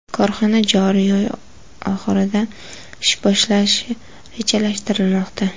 Korxona joriy oy oxirida ish bolashi rejalashtirilmoqda.